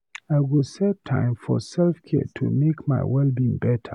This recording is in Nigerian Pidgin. I go set time for self-care to make my well-being better.